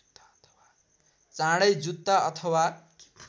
चाँडै जुत्ता अथवा